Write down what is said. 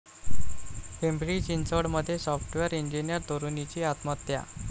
पिंपरी चिंचवडमध्ये software engineer तरुणीची आत्महत्या